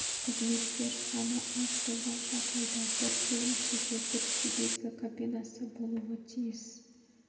қызметкер саны аз болған жағдайда бір бөлімшеге бір себезгі кабинасы болуы тиіс